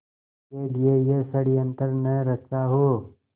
के लिए यह षड़यंत्र न रचा हो